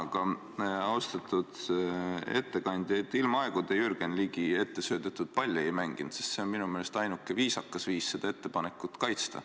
Aga, austatud ettekandja, ilmaaegu te Jürgen Ligi ettesöödetud palli ei mänginud, sest see on minu meelest ainuke viisakas viis seda ettepanekut kaitsta.